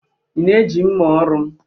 ị na-eji mma ọrụ m